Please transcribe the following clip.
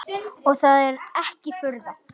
Og er það ekki furða.